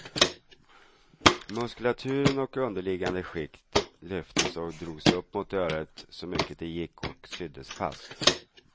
Muskulaturen och underliggande skikt lyftes och drogs upp mot örat så mycket det gick och syddes fast.